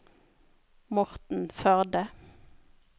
Morten Førde